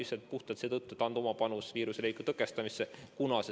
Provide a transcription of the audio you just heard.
Seda puhtalt seetõttu, et anda oma panus viiruse leviku tõkestamisse.